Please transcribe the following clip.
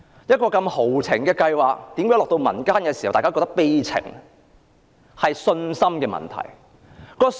一個如此豪情的計劃落到民間，卻變成這麼悲情，是信心的問題。